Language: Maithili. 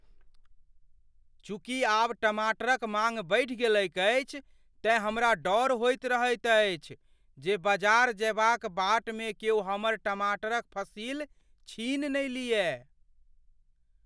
चूँकि आब टमाटरक माँग बढ़ि गेलैक अछि, तेँ हमरा डर होइत रहैत अछि जे बजार जयबाक बाटमे क्यौ हमर टमाटरक फसिल छीनि ने लिअय।